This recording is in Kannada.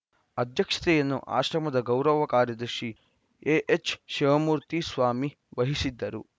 ಅಧ್ಯಕ್ಷತೆಯನ್ನು ಆಶ್ರಮದ ಗೌರವ ಕಾರ್ಯದರ್ಶಿ ಎಎಚ್‌ಶಿವಮೂರ್ತಿ ಸ್ವಾಮಿ ವಹಿಸಿದ್ದರು